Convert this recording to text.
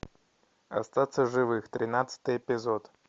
остаться в живых тринадцатый эпизод